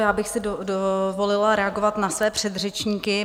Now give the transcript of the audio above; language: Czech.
Já bych si dovolila reagovat na své předřečníky.